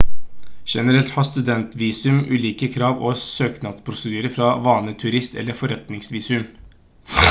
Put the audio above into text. generelt har studentvisum ulike krav og søknadsprosedyrer fra vanlige turist- eller forretningsvisum